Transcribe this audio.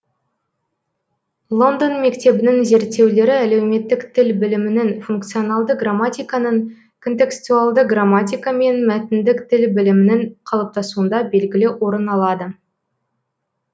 лондон мектебінің зерттеулері әлеуметтік тіл білімінің функционалды грамматиканың контекстуалды грамматика мен мәтіндік тіл білімінің қалыптасуында белгілі орын алады